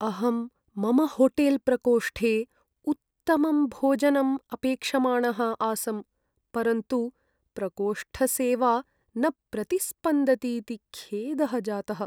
अहं मम होटेल्प्रकोष्ठे उत्तमं भोजनम् अपेक्षमाणः आसम्, परन्तु प्रकोष्ठसेवा न प्रतिस्पन्दतीति खेदः जातः।